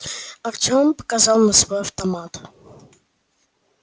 артём показал на свой автомат